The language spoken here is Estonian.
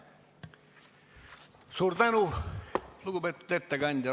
Suur tänu, lugupeetud ettekandja!